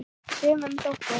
Sumum þótti!